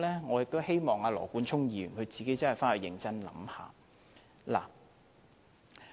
我希望羅冠聰議員認真想想這邏輯。